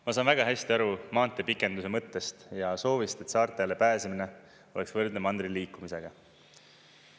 Ma saan väga hästi aru maanteepikenduse mõttest ja soovist, et saartele pääsemine oleks võrdne mandril liikumisega.